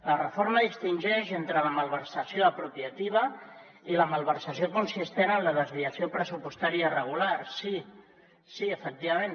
la reforma distingeix entre la malversació apropiativa i la malversació consistent en la desviació pressupostària irregular sí sí efectivament